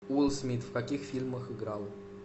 уилл смит в каких фильмах играл